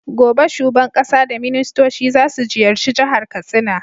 Gobe shuban ƙasa da ministoci zasu ziyarci jahar katsina